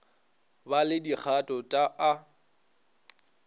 ba le dikgato t a